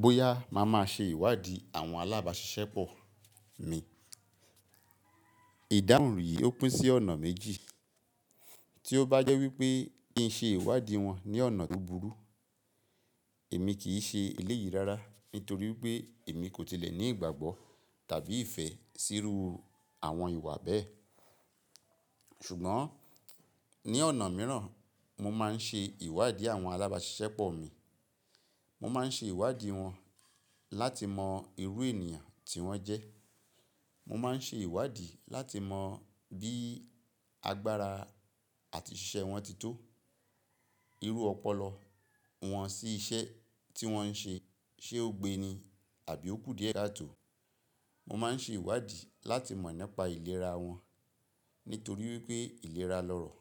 Bóyá màá máa ṣe ìwádìí àwọn alábàáṣiṣẹ́pọ̀ mi. Ìdáhùn yìí ó pín sí ọ̀nà méjì. Tí ó bá jẹ́ wípé kìn í ṣe ìwádìí wọn ní ọ̀nà tó burú. Èmi kì í ṣe eléyìí rárá nítorí wípé èmi kò tilẹ̀ ní ìgbàgbọ́ tàbí ìfẹ́ síru àwọn ìwà bẹ́ẹ̀. Ṣùgbọ́n ní ọ̀nà mìíràn, mo máa ń ṣe ìwádìí àwọn alábàáṣiṣẹ́pọ̀ mi. Mo máa ń ṣe ìwádìí wọn láti mọ irú ènìyàn tí wọ́n jẹ́. Mo máa ń ṣe ìwádìí láti mọ bí agbára àti ṣíṣe wọn tí tó. Irú ọpọlọ wọn sí iṣẹ́ tí wọ́n ń ṣe, ṣe ó gbe ni àbí ó kù díẹ̀ káà tó. Mo máa ń ṣe ìwádìí láti mọ̀ nípa ìlera wọn nítorí wípé ìlera lọ̀rọ̀.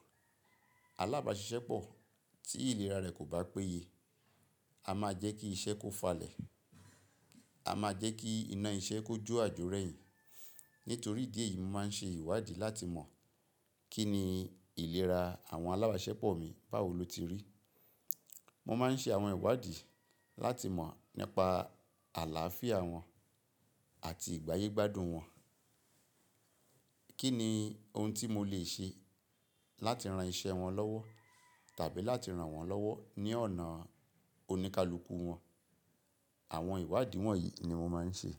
Alábàáṣiṣẹ́pọ̀ tí ìlera rẹ̀ kò bá péye, a máa jẹ́ kí iṣẹ́ kó falẹ̀. A máa jẹ́ kí iná iṣẹ́ kó jó àjọrẹ́ yìí. Nítorí di èyí, mo máa ń ṣe ìwádìí láti mọ̀ kíni ìlera àwọn alábàáṣiṣẹ́pọ̀ mi báwo lo ti rí. Mo máa ń ṣe àwọn ìwádìí láti mọ̀ nípa àláàfíà wọn àti ìgbáyégbádùn wọn. Kíni ohun tí mo lè ṣe láti ran iṣẹ́ wọn lọ́wọ́ tàbí láti ran wọ́n lọ́wọ́ ní ọ̀nà oníkálukú wọn. Àwọn ìwádìí wọ̀nyí ni mo máa ń ṣe.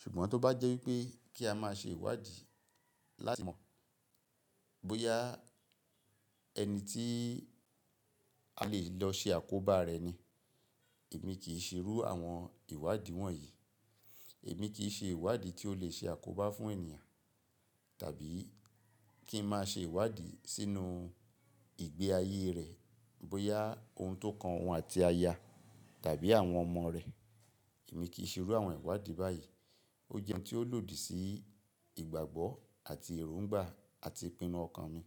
Ṣùgbọ́n tó bá jẹ́ wípé kí a máa ṣe ìwádìí láti mọ̀ bóyá ẹni tí a lè lọ ṣe àkóbá rẹ̀ ni, èmi kì í ṣe irú àwọn ìwádìí wọ̀nyí. Èmi kì í ṣe ìwádìí tí ó lè ṣe àkóbá fún ènìyàn tàbí kí ń máa ṣe ìwádìí sínú ìgbé ayé rẹ̀ bóyá ohun tó kan òun àti aya tàbí àwọn ọmọ rẹ̀. Èmi kì í ṣe irú àwọn ìwádìí báyìí. Ó jẹ́ ohun tí ó lòdì sí ìgbàgbọ́ àti èróńgbà àti ìpinnu ọkàn mi.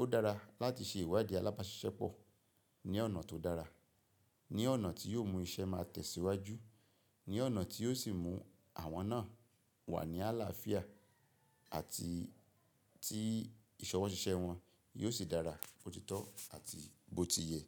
Ó dára láti ṣe ìwádìí alábàáṣiṣẹ́pọ̀ ní ọ̀nà tó dára, ní ọ̀nà tí yóò mú iṣẹ́ máa tẹ̀síwájú, ní ọ̀nà tí yóò sì mú àwọn náà wà ní àláàfíà àti tí ìṣọwọ́ ṣíṣe wọn yóò sì dára bó tí tọ́ àti bó ti yẹ.